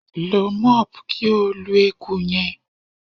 Lo mop ki o lu eku yẹn